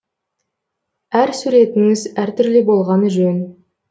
әр суретіңіз әртүрлі болғаны жөн